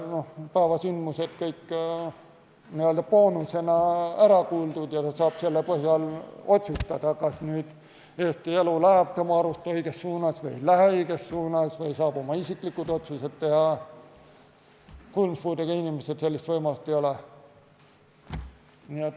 päevasündmused kõik n-ö boonusena ära kuuldud ja ta saab selle põhjal otsustada, kas Eesti elu läheb tema arust õiges suunas või ei lähe õiges suunas, ja ta saab oma isiklikud otsused teha, ei ole.